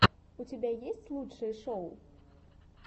у тебя есть лучшие шоу